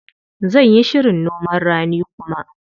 Zan yi shirin noman rani kuma.